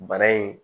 Bana in